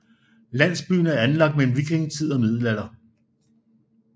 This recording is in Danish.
Landsbyen er anlagt mellem vikingetid og middelalder